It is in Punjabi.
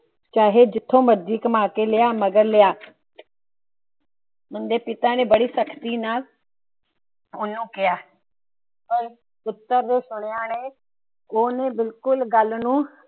ਚਾਹੇ ਜਿੱਥੋਂ ਮਰਜ਼ੀ ਕਮਾ ਲੈ ਲਿਆ ਨਗਦ ਲਿਆ। ਉਹਂਦੇ ਪਿਤਾ ਨੇ ਬੜੀ ਸਖਤੀ ਨਾਲ ਉਹਨੂੰ ਕਿਹਾ। ਗੱਲ ਨੂੰ।